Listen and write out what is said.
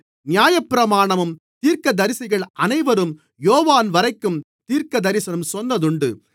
நியாயப்பிரமாணமும் தீர்க்கதரிசிகள் அனைவரும் யோவான்வரைக்கும் தீர்க்கதரிசனம் சொன்னதுண்டு